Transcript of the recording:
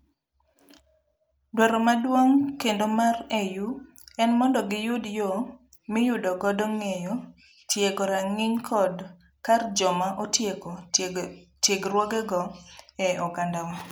Dwaro maduong' kendo mar AU en mondo giyud yoo miyudo godo ng'eyo tiego rang'iny kod kar joma otieko tiegruogego e oganda wa.